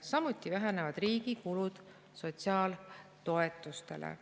Samuti vähenevad riigi kulud sotsiaaltoetustele.